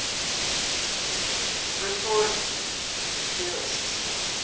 rhetoric theorists